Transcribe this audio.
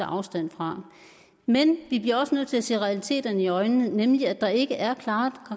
afstand fra men vi bliver også nødt til at se realiteterne i øjnene nemlig at der ikke er klare